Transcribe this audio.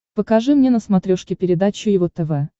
покажи мне на смотрешке передачу его тв